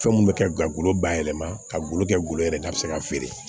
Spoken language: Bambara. Fɛn mun bɛ kɛ gagolo bayɛlɛma ka golo kɛ golo yɛrɛ n'a bi se ka feere